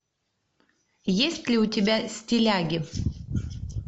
есть ли у тебя стиляги